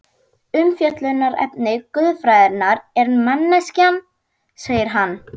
Umfjöllunarefni guðfræðinnar er mennskan, segir hann.